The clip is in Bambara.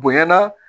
Bonyana